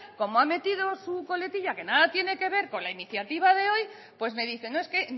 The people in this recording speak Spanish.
como ha metido su coletilla que nada tiene que ver con la iniciativa de hoy pues me dice no es que